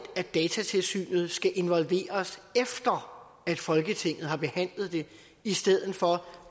at datatilsynet skal involveres efter folketinget har behandlet det i stedet for